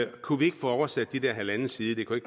kunne vi ikke få oversat de der halvanden side det kunne